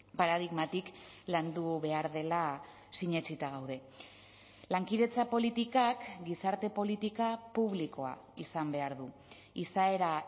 paradigmatik landu behar dela sinetsita gaude lankidetza politikak gizarte politika publikoa izan behar du izaera